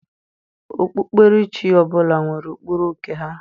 Okpukperechi ọbụla nwere ụkpụrụ nke ha.